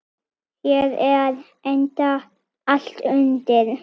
Hér er enda allt undir.